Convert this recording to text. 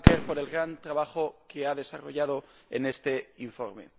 De Backer, por el gran trabajo que ha desarrollado en este informe.